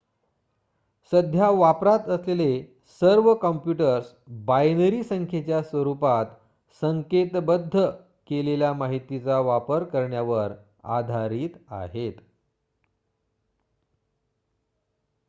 सध्या वापरात असलेले सर्व काँप्युटर्स बायनरी संख्येच्या स्वरुपात संकेतबद्ध केलेल्या माहितीचा वापर करण्यावर आधारित आहेत